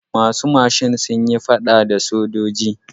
Masu mashin sun yi faɗa a da sojoji.